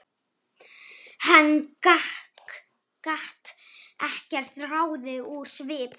Hann gat ekkert ráðið úr svip þeirra.